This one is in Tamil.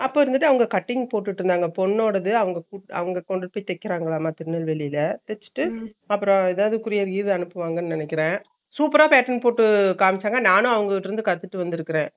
அப்ப இருந்துட்டு அவரு கிட்டிங் போட்டுட்டு இருந்தாங்க பொண்ணோடது அவங் அவங்க கொண்டுபோய் தேக்கிராங்களா திருநெல்வேலில தேச்சிட்டு அப்பறம் ஏதாவது courier கீது அனுப்புவாங்கனு நினைக்குறேன், super ர packing பண்ணி காமிச்சாங்க நானும் அவங்ககிட்ட இருந்து கத்துட்டு வந்துருக்கேன்